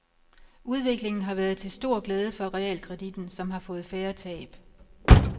Udviklingen har været til stor glæde for realkreditten, som har fået færre tab.